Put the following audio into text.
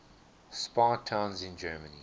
spa towns in germany